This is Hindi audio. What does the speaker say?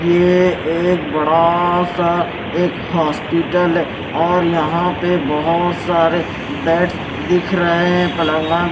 ये एक बड़ा सा एक हॉस्पिटल और यहां पे बहुत सारे बैड्स दिख रहे हैपलंगा---